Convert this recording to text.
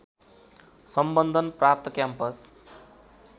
सम्बन्धन प्राप्त क्याम्पस